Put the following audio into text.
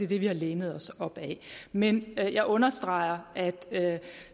det vi har lænet os op ad men jeg jeg understreger at